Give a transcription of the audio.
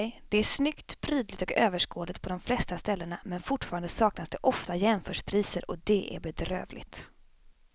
Det är snyggt, prydligt och överskådligt på de flesta ställena men fortfarande saknas det ofta jämförpriser och det är bedrövligt.